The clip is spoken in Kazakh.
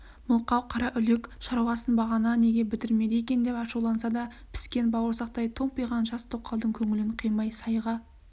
мылқау қараүлек шаруасын бағана неге бітірмеді екен деп ашуланса да піскен бауырсақтай томпиған жас тоқалдың көңілін қимай сайға